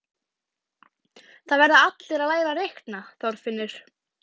Það verða allir að læra að reikna, Þorfinnur